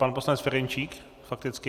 Pan poslanec Ferjenčík fakticky.